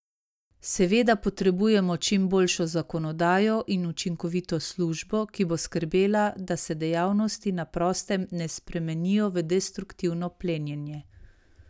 Seveda, potrebujemo čim boljšo zakonodajo in učinkovito službo, ki bo skrbela, da se dejavnosti na prostem ne spremenijo v destruktivno plenjenje.